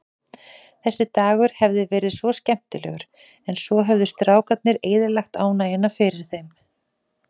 Þessi dagur hafði verið svo skemmtilegur, en svo höfðu strákarnir eyðilagt ánægjuna fyrir þeim.